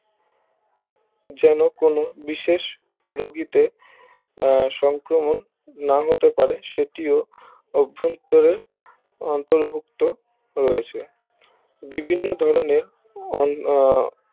যেন কোনো বিশেষ রোগীতে আহ সংক্রমণ নাহতে পারে সেটিও অভন্তরের অন্তর্ভুক্ত রয়েছে বিভিন্ন ধরণের অন আহ